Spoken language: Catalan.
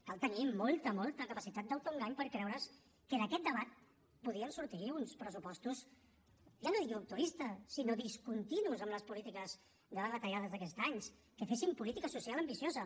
cal tenir molta molta capacitat d’autoengany per creure’s que d’aquest debat podien sortir uns pressupostos ja no dic rupturistes sinó discontinus amb les polítiques de retallades d’aquests anys que fessin política social ambiciosa